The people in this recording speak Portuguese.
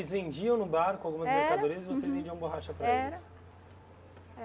eles vendiam no barco algumas mercadorias e vocês vendiam borracha para eles? Era.